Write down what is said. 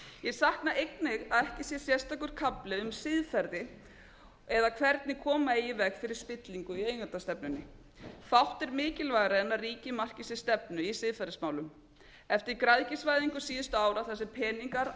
ég sakna einnig að ekki sé sérstakur kafli um siðferði eða hvernig koma eigi í veg fyrir spillingu í eigendastefnunni fátt er mikilvægara en að ríkið marki sér stefnu í siðferðismálum eftir græðgisvæðingu síðustu ára þar sem peningar arðsemi